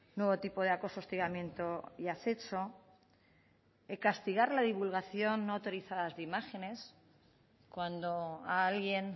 nuevo tipo de acoso hostigamiento y acecho castigar la divulgación no autorizada de imágenes cuando a alguien